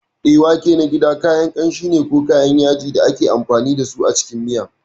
Eh, wake na gida kayan kanshi ne ko kayan yaji da ake amfani da su a cikin miya.